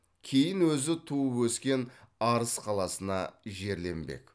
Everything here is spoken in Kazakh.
кейін өзі туып өскен арыс қаласына жерленбек